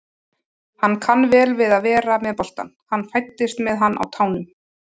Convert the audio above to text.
Hann kann vel við að vera með boltann, hann fæddist með hann á tánum.